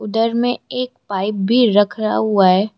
दर में एक पाइप भी रखा रहा हुआ है।